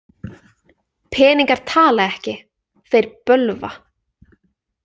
Peningar tala ekki, þeir bölva.